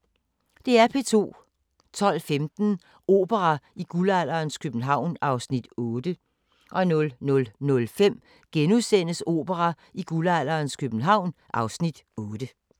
12:15: Opera i guldalderens København (Afs. 8) 00:05: Opera i guldalderens København (Afs. 8)*